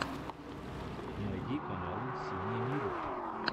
найди каналы сени миро